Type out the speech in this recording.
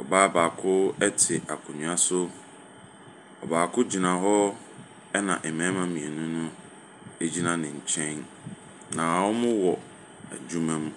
Ɔbaa baako te akonnwa so. Ɔbaako gyina hɔ, ɛna mmarima mmienu no gyina ne nkyɛn. Na wɔwɔ adwuma mu.